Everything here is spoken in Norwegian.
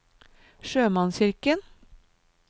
sjømannskirken